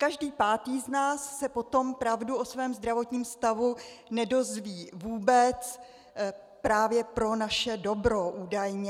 Každý pátý z nás se potom pravdu o svém zdravotním stavu nedozví vůbec právě pro naše dobro, údajně.